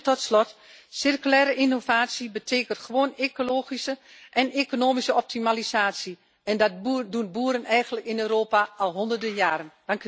Tot slot, circulaire innovatie betekent gewoon ecologische en economische optimalisatie en dat doen boeren eigenlijk in Europa al honderden jaren.